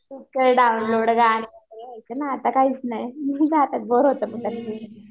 download आताकाहीच नाही आता